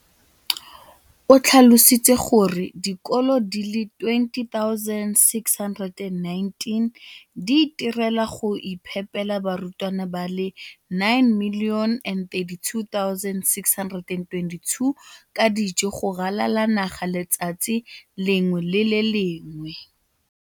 o tlhalositse gore dikolo di le 20 619 di itirela le go iphepela barutwana ba le 9 032 622 ka dijo go ralala naga letsatsi le lengwe le le lengwe.